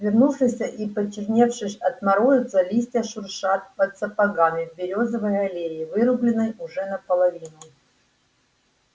свернувшиеся и почерневшие от мороза листья шуршат под сапогами в берёзовой аллее вырубленной уже наполовину